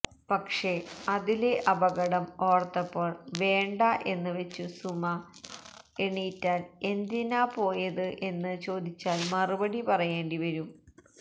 പക്ഷെ അതിലെ അപകടം ഓർത്തപ്പോൾ വേണ്ട എന്ന് വെച്ചു സുമ എണീറ്റാൽ എന്തിനാപ്പോയത് എന്ന് ചോദിച്ചാൽ മറുപടി പറയേണ്ടി വരും